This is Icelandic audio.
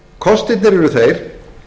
kostirnir eru þeir